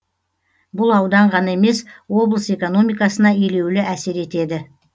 бұл аудан ғана емес облыс экономикасына елеулі әсер етеді